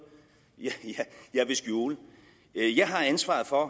jeg vil skjule jeg har ansvaret for at